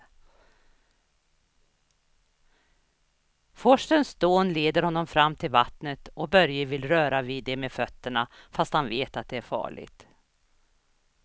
Forsens dån leder honom fram till vattnet och Börje vill röra vid det med fötterna, fast han vet att det är farligt.